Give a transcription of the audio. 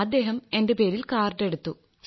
അദ്ദേഹം എന്റെ പേരിൽ കാർഡ് എടുത്തു